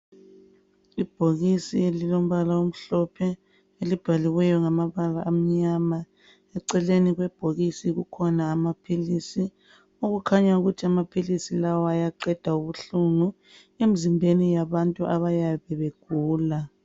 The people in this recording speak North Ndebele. Ibhokisi elilombala amhlophe , elibhaliweyo ngamabala amnyama , eceleni kwebhokisi kukhona amaphilisi okukhanya ukuthi amaphilisi lawa ayaqeda ubuhlungu emzimbeni yabantu abayabe begula